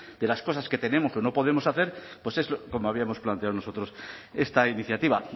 de las cosas que tenemos o no podemos hacer pues es como habíamos planteado nosotros esta iniciativa